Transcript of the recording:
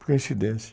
Coincidência.